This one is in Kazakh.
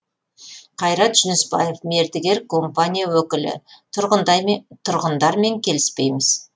қайрат жүнісбаев мердігер компания өкілі тұрғындармен келіспейміз